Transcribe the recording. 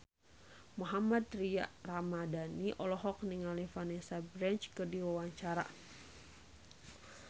Mohammad Tria Ramadhani olohok ningali Vanessa Branch keur diwawancara